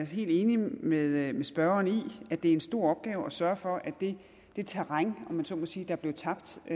helt enig med med spørgeren i at det er en stor opgave at sørge for at det terræn om jeg så må sige der blev tabt i